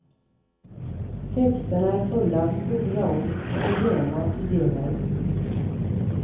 Texterna är fulla av stora ord och rena ideal.